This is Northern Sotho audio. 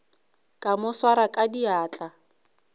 ka mo swara ka diatla